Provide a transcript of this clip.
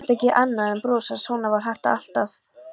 Hann gat ekki annað en brosað, svona var þetta alltaf.